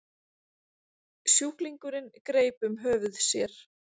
Sjúklingurinn greip um höfuð sér.